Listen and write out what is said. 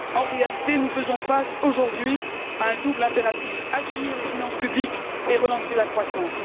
En réalité, nous faisons face, aujourd'hui, à un double impératif assainir les finances publiques et relancer la croissance.